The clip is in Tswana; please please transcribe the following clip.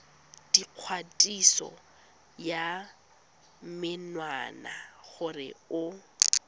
dikgatiso ya menwana gore o